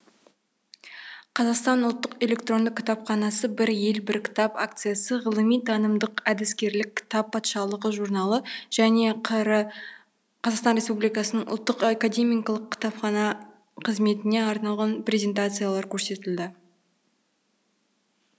қазақстан ұлттық электронды кітапханасы бір ел бір кітап акциясы ғылыми танымдық әдіскерлік кітап патшалығы журналы және қр ұлттық академиялық кітапхана қызметіне арналған презентациялар көрсетілді